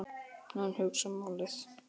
Hann hugsar málið.